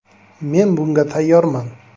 Men bunga tayyorman.